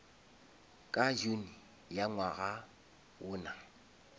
ka june ya ngwaga wona